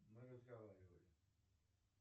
мы разговаривали